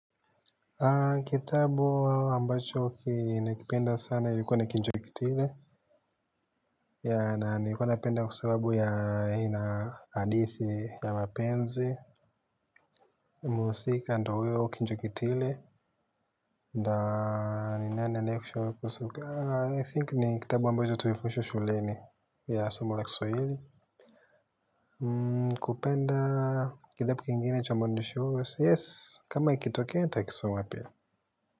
Kitabu ambacho nilipenda sana ilikuwa Kinjeketile, na ilikuwa napenda kusoma kwa sababu ina hadithi ya wapenzi wa muziki, ndiye huyo Kinjeketile. I think ni kitabu ambacho tulifundishwa shuleni hasa somo la Kiswahili, ndiyo maana nikakipenda. Kitabu kingine cha mwandishi huyo. Yes, kama ikitokea nitakisoma pia.